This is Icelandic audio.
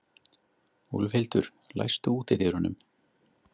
Úlfhildur, læstu útidyrunum.